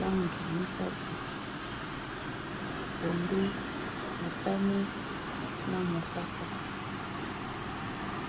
langi misato pondu, motane na mosaka.